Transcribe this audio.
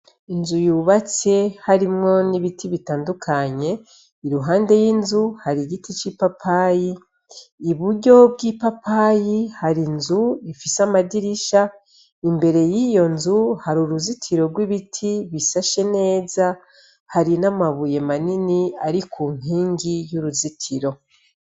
Inzu yubatse harimwo n'ibiti bitandukanye, iruhande y'inzu hari igiti c'ipapayi, iburyo bw'ipapayi hari inzu ifise amadirisha, imbere yiyo nzu hari uruzitiro rw'ibiti bishashe neza hari n'amabuye manini ari ku nkingi yuruzitiro.